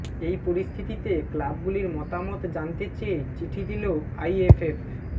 এই পরিস্থিতিতে ক্লাবগুলির মতামত জানতে চেয়ে চিঠি দিল আইএফএফ